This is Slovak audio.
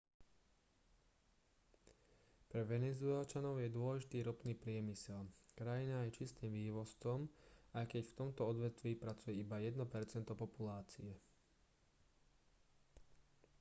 pre venezuelčanov je dôležitý ropný priemysel krajina je čistým vývozcom aj keď v tomto odvetví pracuje iba jedno percento populácie